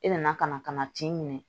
I nana ka na ka na tin minɛ